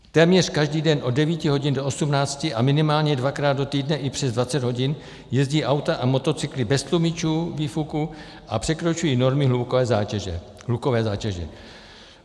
Téměř každý den od 9 hodin do 18 a minimálně dvakrát do týdne i přes 20 hodin jezdí auta a motocykly bez tlumičů výfuků a překračují normy hlukové zátěže.